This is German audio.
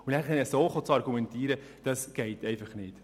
Dann so zu argumentieren, das geht einfach nicht.